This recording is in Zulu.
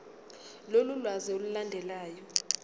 lolu lwazi olulandelayo